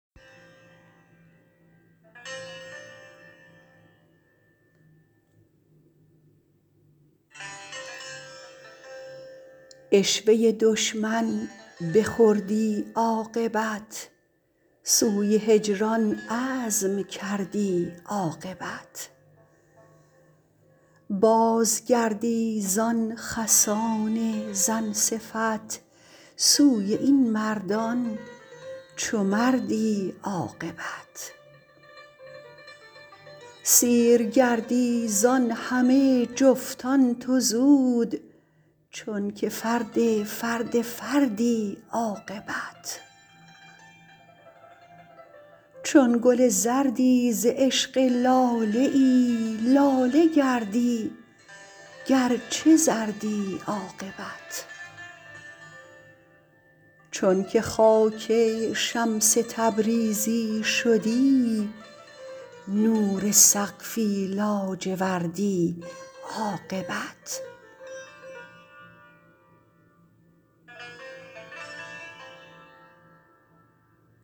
عشوه دشمن بخوردی عاقبت سوی هجران عزم کردی عاقبت بازگردی زان خسان زن صفت سوی این مردان چو مردی عاقبت سیر گردی زان همه جفتان تو زود چونک فرد فرد فردی عاقبت چون گل زردی ز عشق لاله ای لاله گردی گرچه زردی عاقبت چونک خاک شمس تبریزی شدی نور سقفی لاجوردی عاقبت